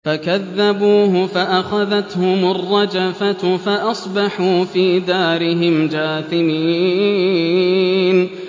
فَكَذَّبُوهُ فَأَخَذَتْهُمُ الرَّجْفَةُ فَأَصْبَحُوا فِي دَارِهِمْ جَاثِمِينَ